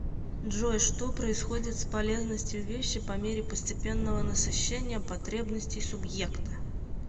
джой что происходит с полезностью вещи по мере постепенного насыщения потребностей субъекта